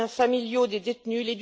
des liens familiaux des détenus